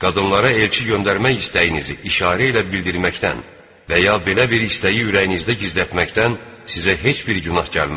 Qadınlara elçi göndərmək istəyinizi işarə ilə bildirməkdən və ya belə bir istəyi ürəyinizdə gizlətməkdən sizə heç bir günah gəlməz.